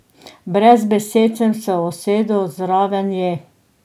Brez besed sem se usedel zraven nje.